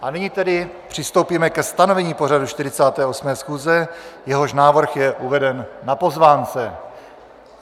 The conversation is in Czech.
A nyní tedy přistoupíme ke stanovení pořadu 48. schůze, jehož návrh je uveden na pozvánce.